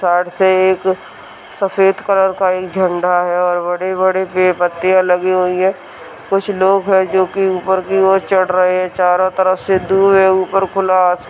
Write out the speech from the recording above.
--तड़से एक सफेद कलर का एक झंडा है और बड़े-बड़े पेड़-पत्तियाँ लगी हुई है कुछ लोग है जो की ऊपर की ओर चढ़ रहे है चारो तरफ से दूर है ऊपर खुला आस--